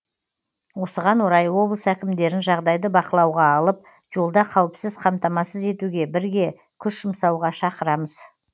осыған орай облыс әкімдерін жағдайды бақылауға алып жолда қауіпсіз қамтамасыз етуге бірге күш жұмсауға шақырамыз